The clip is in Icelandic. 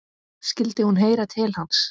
Skyldi hún heyra til hans?